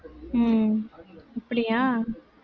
உம் அப்படியா